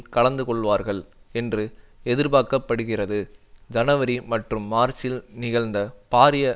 கலந்து கொள்வார்கள் என்று எதிர்பார்க்க படுகிறது ஜனவரி மற்றும் மார்ச்சில் நிகழ்ந்த பாரிய